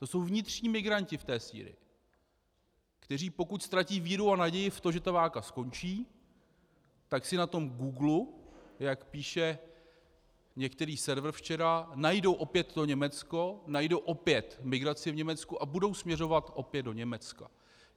To jsou vnitřní migranti v té Sýrii, kteří pokud ztratí víru a naději v to, že ta válka skončí, tak si na tom Googlu, jak píše některý server včera, najdou opět to Německo, najdou opět migraci v Německu a budou směřovat opět do Německa.